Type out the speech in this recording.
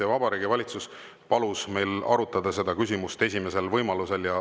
Ja Vabariigi Valitsus palus meil arutada seda küsimust esimesel võimalusel.